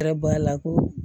Kɛra bɔ a la ko